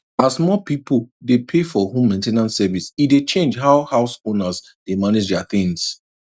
as more people dey pay for home main ten ance service e dey change how house owners dey manage their things